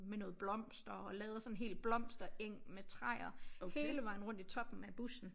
Med noget blomster og lavet sådan en hel blomstereng med træer hele vejen rundt i toppen af bussen